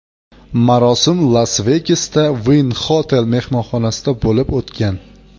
Marosim Las-Vegasda, Wynn Hotel mehmonxonasida bo‘lib o‘tgan.